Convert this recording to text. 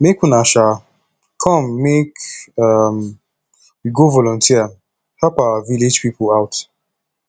make una um come make um we go volunteer help our village people out